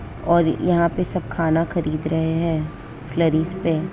और यहां पे सब खाना खरीद रहे हैं फ्लारिस पे--